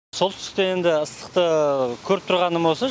солтүстікте енді ыстықты көріп тұрғаным осы